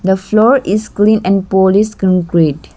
the floor is clean and polish concrete.